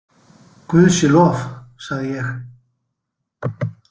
Guði sé lof, sagði ég.